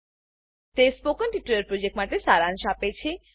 તે spoken tutorial પ્રોજેક્ટનો સારાંશ આપે છે